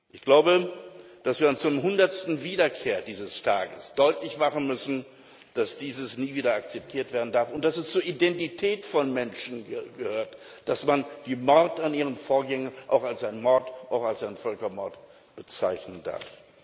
Ich glaube, dass wir uns zur hundertsten Wiederkehr dieses Tages deutlich machen müssen, dass dies nie wieder akzeptiert werden darf und dass es zur Identität von Menschen gehört, dass man die Morde an ihren Vorgängern auch als Völkermord bezeichnen darf.